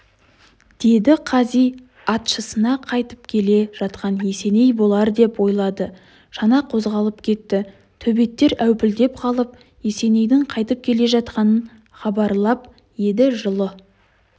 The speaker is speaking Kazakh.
деді қази атшысына қайтып келе жатқан есеней болар деп ойлады шана қозғалып кетті төбеттер әупілдеп қалып есенейдің қайтып келе жатқанын хабарлап еді жылы